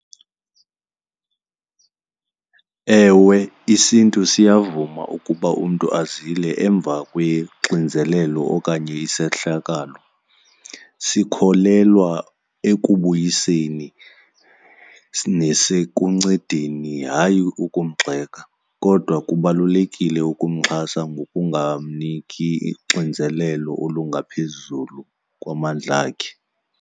Ewe, isiNtu siyavuma ukuba umntu azile emva kwexinzelelo okanye isehlakalo. Sikholelwa ekubuyiseni nasekuncedeni, hayi ukumgxeka kodwa kubalulekile ukumxhasa ngokungamniki uxinzelelo olungaphezulu kwamandla akhe.